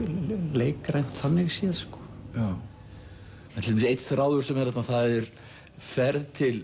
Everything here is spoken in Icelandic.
leikrænt þannig séð sko einn þráður sem er þarna það er ferð til